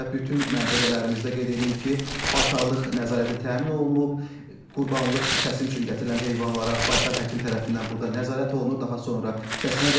Və bütün məntəqələrimizdə qeyd eləyim ki, baytarlıq nəzarəti təmin olunub, qurbanlıq kəsim üçün gətirilən heyvanlara baytar həkim tərəfindən burda nəzarət olunur, daha sonra kəsmə verilir.